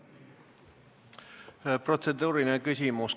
Protseduuriline küsimus.